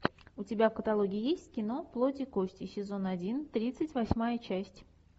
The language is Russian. у тебя в каталоге есть кино плоть и кости сезон один тридцать восьмая часть